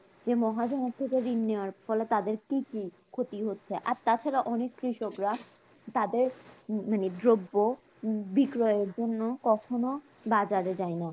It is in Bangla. মহাজনের থেকে ঋণ নেওয়ার ফলে তাদের কি কি ক্ষতি হচ্ছে? আর তাছাড়া অনেক কৃষকরা তাদের মানে দ্রব্য বিক্রয়ের জন্য কখনো বাজারে যায় না